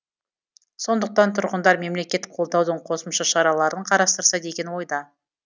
сондықтан тұрғындар мемлекет қолдаудың қосымша шараларын қарастырса деген ойда